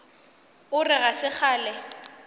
o re ga se kgale